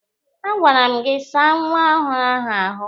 A gwara m gị saa nwa ọhụrụ ahụ ahụ!